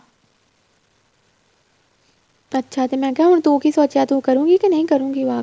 ਅੱਛਾ ਤੇ ਮੈਂ ਕਿਹਾ ਤੂੰ ਕੀ ਸੋਚਿਆ ਹੈ ਤੂੰ ਕਰੂਗੀ ਕੇ ਨਹੀਂ ਕਰੂਗੀ walk